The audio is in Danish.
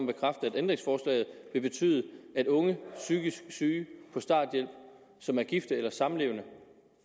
bekræfte at ændringsforslaget vil betyde at unge psykisk syge på starthjælp som er gift eller samlevende